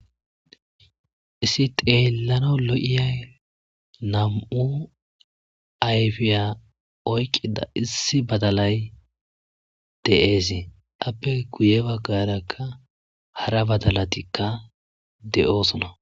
Issi xeelano lo7iyay nam7u ayfiya oykqida issi badalay de7eese appe guye baggarakka hara badalatikka de7oosona.